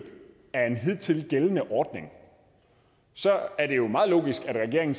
af en hidtil gældende ordning så er det jo meget logisk at regeringen